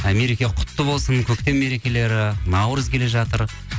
і мереке құтты болсын көктем мерекелері наурыз келе жатыр